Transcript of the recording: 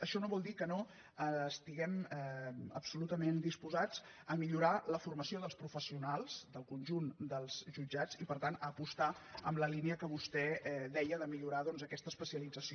això no vol dir que no estiguem absolutament disposats a millorar la formació dels professionals del conjunt dels jutjats i per tant a apostar per la línia que vostè deia de millorar aquesta especialització